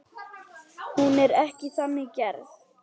Hún er ekki þannig gerð.